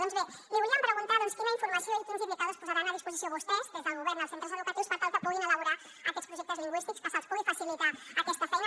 doncs bé li volíem preguntar quina informació i quins indicadors posaran a disposició vostès des del govern als centres educatius per tal que puguin elaborar aquests projectes lingüístics que se’ls pugui facilitar aquesta feina